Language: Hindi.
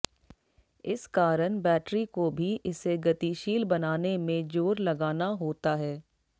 इस कारण बैट्री को भी इसे गतिशील बनाने में जोर लगाना होता है